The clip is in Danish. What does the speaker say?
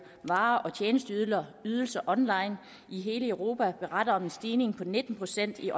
varer og tjenesteydelser online i hele europa beretter om en stigning på nitten procent i